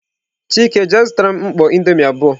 Chike je zutaram mkpọ indomie abuo!.